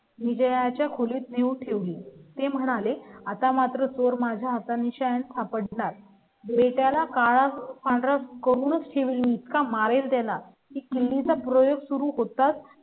विजया च्या खोलीत नेऊन ठेवली. ते म्हणाले, आता मात्र सोर माझा आणि शांता पडतात. मी त्याला काळ पंधरा करून ठेवले आहेत का? मारेल देणार कि मी चा प्रयोग सुरू होतात,